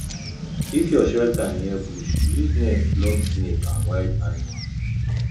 if your shelter near bush use net block snake and wild animal